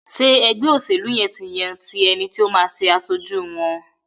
Ṣe ègbé òṣèlú yén tí yàn ti ẹní tí o má aṣojú wón?